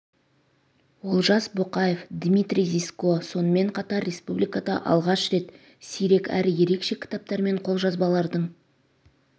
олжас боқаев дмитрий зиско сонымен қатар республикада алғаш рет сирек әрі ерекше кітаптар мен қолжазбалардың